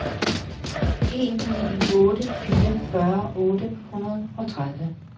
en ni otte fire fyrre otte hundrede og tredive